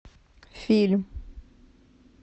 фильм